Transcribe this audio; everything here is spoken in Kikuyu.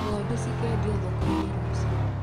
Ngondu cikendio thokoini rũciũ.